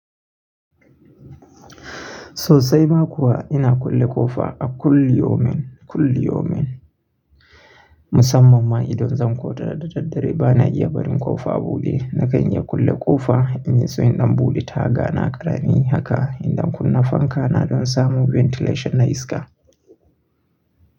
Sosai ma kuwa ina kulle ƙofa a kulli yaumen, kulli yaumen. Musamman ma idan zan kwata da daddare bana iya barin ƙofa buɗe. Na kan iya kulle ƙofa in yaso in ɗan buɗe ta ga na karani haka idan kunna fanka na dan samu ventilation na iska.